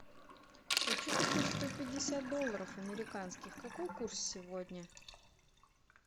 хочу купить сто пятьдесят долларов американских какой курс сегодня